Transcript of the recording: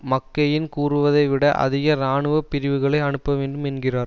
McCain கூறுவதை விட அதிக இராணுவ பிரிவுகளை அனுப்ப வேண் என்கிறார்